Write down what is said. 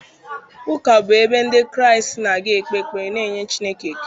Ụka bụ ebe Ndị Kraịst na-aga ikpe ekpere na inye Chineke ekele